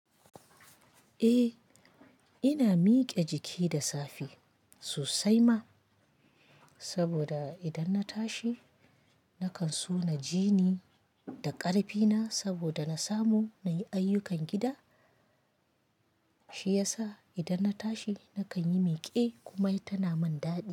Eh ina miƙe jiki da safe sosai ma, saboda idan na tashi nakan so na ji ni da ƙarfi na saboda na samu nayi ayyukan gida, shi yasa idan na tashi nakan yi miƙe kuma tana min daɗi.